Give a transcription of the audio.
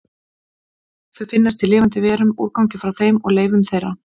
Þau finnast í lifandi verum, úrgangi frá þeim og leifum þeirra.